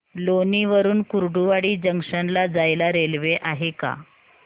लोणी वरून कुर्डुवाडी जंक्शन ला जायला रेल्वे आहे का